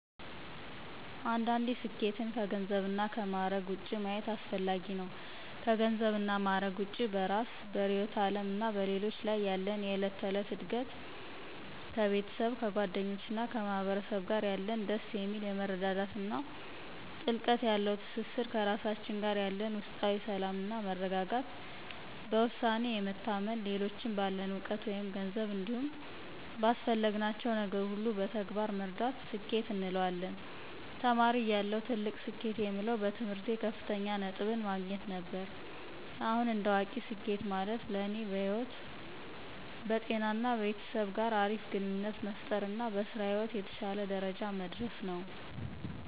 አንዳንዴ ስኬትን ከገንዘብ እና ከማዕረግ ውጭ ማየት አስፈጋጊ ነው። ከገንዘብ እና ማዕረግ ውጭ በእራስ፤ በርዕዮተ ዓለም እና በሌሎች ላይ ያለን የዕለት ተዕለት እድገት፣ ከቤተሰብ፤ ከጓደኞች እና ከማህበረሰብ ጋር ያለን ደስ የሚል የመረዳዳት እና ጥልቀት ያለው ትስስር፣ ከራሳችን ጋር ያለን ውስጣዊ ሰላም እና መረጋጋት፣ በውሳኔ የመታመን፣ ሌሎችን ባለን እውቀት መይም ገንዘብ እንዲሁም ባስፈለግናቸው ነገር ሁሉ በተግባር መርዳት ስኬት እንለዋለን። ተማሪ እያለሁ ትልቅ ስኬት የምለው በትምህርቴ ከፍተኛ ነጥብን ማግኘት ነበር። አሁን እንደ አዋቂ ስኬት ማለት ለኔ በህይወት፣ በጤና እና ቤተሰብ ጋር አሪፍ ግንኙነት መፍጠር እና በስራ ህይወት የተሸለ ደረጃ መድረስ ነው።